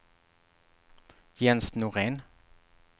Jens Norén